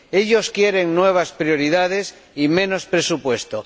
Ellos quieren nuevas prioridades y menos presupuesto